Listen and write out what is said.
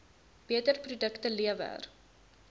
beter produkte lewer